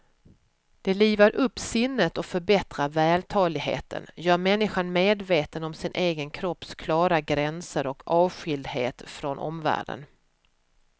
Det livar upp sinnet och förbättrar vältaligheten, gör människan medveten om sin egen kropps klara gränser och avskildhet från omvärlden.